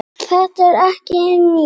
Þetta er ekki til neins.